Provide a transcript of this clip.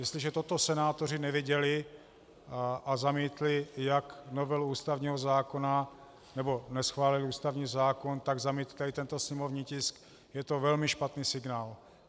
Jestliže toto senátoři neviděli a zamítli jak novelu ústavního zákona, nebo neschválili ústavní zákon, tak zamítli tento sněmovní tisk, je to velmi špatný signál.